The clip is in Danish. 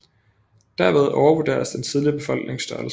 Derved overvurderes den tidlige befolknings størrelse